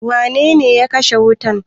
Wane ne ya kashe wuta?